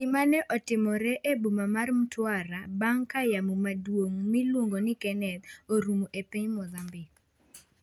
Gima ne otimore e boma mar Mtwara bang' ka yamo maduong' mailuongo ni Kenneth orumo e piny Mozambique